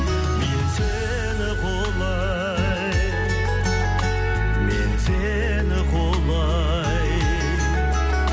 мен сені құлай мен сені құлай